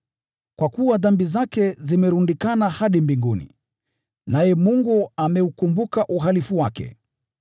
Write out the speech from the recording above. kwa kuwa dhambi zake zimelundikana hadi mbinguni, naye Mungu ameukumbuka uhalifu wake.